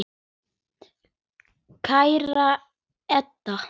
Kæra Edda.